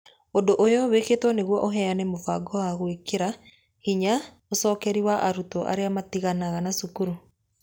Ũndũ ũyũ wĩkĩtwo nĩguo ũheane mũbango wa gwĩkĩra hinya ũcokeri wa arutwo arĩa matiganaga na cukuru